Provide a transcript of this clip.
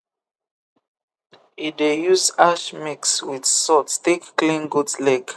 e dey use ash mix with salt take clean goat leg